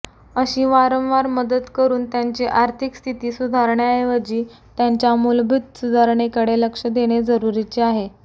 अशी वारंवार मदत करून त्यांची आर्थिकस्थिती सुधारण्याऐवजी त्यांच्या मूलभूत सुधारणेकडे लक्ष देणे जरुरीचे आहे